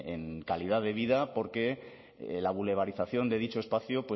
en calidad de vida porque la boulevarización de dicho espacio